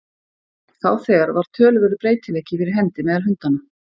Þá þegar var töluverður breytileiki fyrir hendi meðal hundanna.